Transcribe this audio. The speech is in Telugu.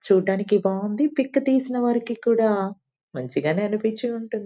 చూడటానికి బాగుంది పిక్ తీసిన వారికి కూడా మంచి గా అనిపించి ఉంటుంది.